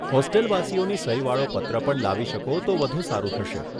હોસ્ટેલવાસીઓની સહીવાળો પત્ર પણ લાવી શકો તો વધુ સારું થશે.